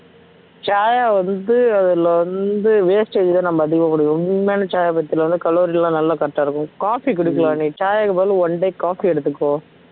சாயா வந்து அதுல வந்து wastage தான் நம்ம அதிகமான குடிக்கரோ உண்மையான சாயா பாத்தின calorie எல்லாம் நல்லா correct ஆ இருக்கும் coffee குடிக்கலாம் நீ சாயாக்கு பதில் one day coffee எடுத்துக்கோ